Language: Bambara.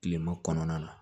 Kilema kɔnɔna na